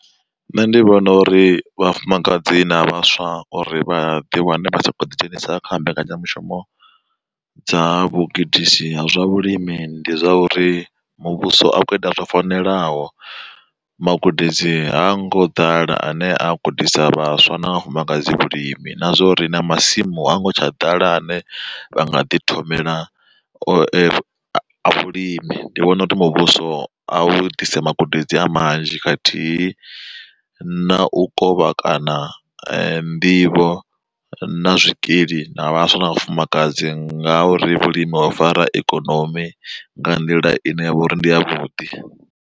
Nṋe ndi vhona uri vhafumakadzi na vhaswa uri vha ḓi wane vha tshi kho ḓi dzhenisa kha mbekanyamushumo dza vhugudisi ha zwa vhulimi ndi zwa uri, muvhuso akho ita zwo fanelaho magudedzi ha ngo ḓala ane a gudisa vhaswa na vhafumakadzi vhulimi na zwa uri na masimu a ngo tsha ḓala ane vha nga ḓi thomela vhulimi, ndi vhona uri muvhuso a vhudisa magudedzi a manzhi khathihi na u kovha kana nḓivho na zwikili na vhaswa na vhafumakadzi, nga uri vhulimi ho fara ikonomi nga nḓila ine yavha uri ndi a vhuḓi.